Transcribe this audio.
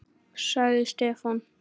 sagði Stefán.